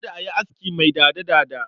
Kada a yi aski mai dada-dada.